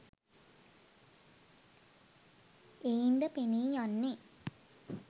එයින්ද පෙනීයන්නේ